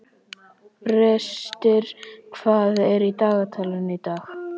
Brestir, hvað er í dagatalinu í dag?